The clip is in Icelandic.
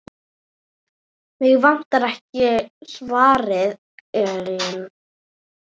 Mig vantar ekkert, svaraði Ellen.